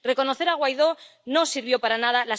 Reconocer a Guaidó no sirvió para nada.